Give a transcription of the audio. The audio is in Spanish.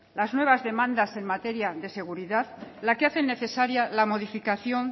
las nuevas demandas en materia de seguridad la que hacen necesaria la modificación